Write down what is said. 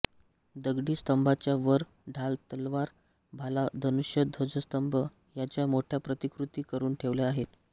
दगडी स्तंभाच्या वर ढाल तलवार भाला धनुष्य ध्वजस्तंभ ह्याच्या मोठ्या प्रतिकृती करुन ठेवल्या आहेत